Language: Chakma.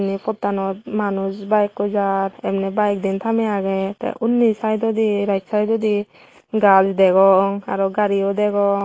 ei pottanot manuj bayekkoi jar emney bayek diyen thamey agey tey unni saidodi right saidodi gaaj degong aro gariyo degong.